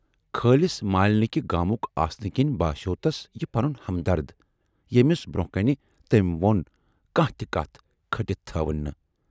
خٲلِص مالنِکہٕ گامُک آسنہٕ کِنۍ باسٮ۪و تس یہِ پنُن ہمدرد، ییمِس برونہہ کنہِ تٔمۍ ووٚن کانہہ تہِ کتھ کھٔٹِتھ تھٲو نہٕ۔